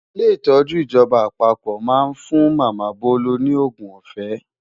Ilé ìtọ́jú ìjọba àpapọ̀ máa ń fún Màmá Bolu ní òògùn ọ̀fẹ́.